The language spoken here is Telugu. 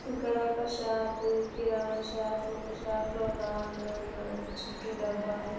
ఇక్కడ ఒక షాప్ కిరాణం షాప్ షాప్ లో ఒక అన్న ఉన్నాడు చుట్టూ డబ్బాలు--